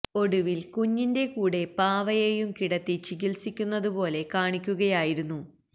ഒടുവിൽ കുഞ്ഞിന്റെ കൂടെ പാവയെയും കിടത്തി ചികിത്സിക്കുന്നത് പോലെ കാണിക്കുകയായിരുന്നു